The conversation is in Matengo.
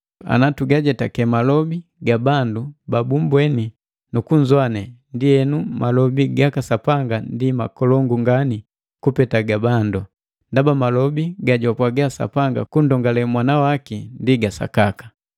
Ana tugajetake malobi ga bandu babumbweni nu kunzowane, ndienu malobi gaka Sapanga ndi makolongu ngani kupeta ga bandu; ndaba malobi gajwapwaga Sapanga kundongale Mwana waki ndi ga sakaka.